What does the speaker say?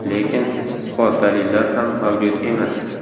Lekin isbot-dalillar ham mavjud emas.